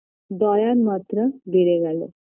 দয়ার মাত্রা বেড়ে গেল